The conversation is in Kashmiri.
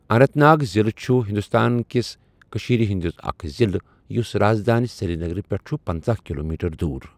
اننت ناگ ضِلہٕ چُھ ہِنٛدوستان کِس کشیٖرِ ہٕنٛدِ اَکھ ضِلہٕ یُس راز دانہِ سِرینگَرٕ پؠٹھ چھُ پَنژاہ کلومیٹر دور۔